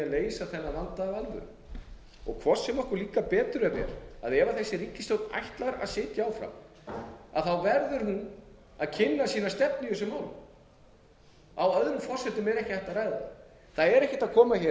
leysa þennan vanda af alvöru hvort sem okkur líkar betur eða verr ef þessi ríkisstjórn ætlar að sitja áfram verður hún að kynna sína stefnu í þessum málum árum forsendum er ekki hægt að ræða það það er ekki hægt að koma hér